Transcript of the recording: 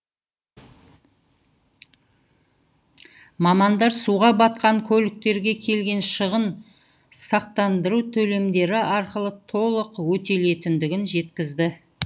мамандар суға батқан көліктерге келген шығын сақтандыру төлемдері арқылы толық өтелетіндігін жеткізді